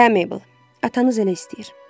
Hə Mabel, atanız elə istəyir.